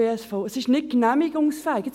– Es sei nicht genehmigungsfähig.